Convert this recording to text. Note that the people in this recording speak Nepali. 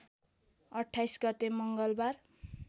२८ गते मङ्गलबार